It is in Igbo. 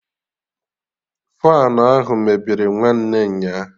Faanụ ahụ mebiri nwanne nya